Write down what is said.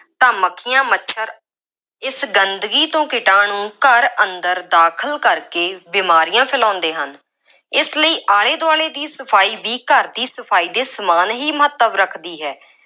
ਤਾਂ ਮੱਖੀਆਂ, ਮੱਛਰ, ਇਸ ਗੰਦਗੀ ਤੋਂ ਕੀਟਾਣੂੰ ਘਰ ਅੰਦਰ ਦਾਖਲ ਕਰਕੇ ਬੀਮਾਰੀਆਂ ਫੈਲਾਉਂਦੇ ਹਨ। ਇਸ ਲਈ ਆਲੇ ਦੁਆਲੇ ਦੀ ਸਫਾਈ ਵੀ ਘਰ ਦੀ ਸਫਾਈ ਦੇ ਸਮਾਨ ਹੀ ਮਹੱਤਵ ਰੱਖਦੀ ਹੈ।